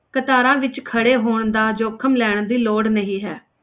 ਕਤਾਰਾਂ ਵਿੱਚ ਖੜੇ ਹੋਣ ਦਾ ਜ਼ੋਖਮ ਲੈਣ ਦੀ ਲੋੜ ਨਹੀਂ ਹੈ,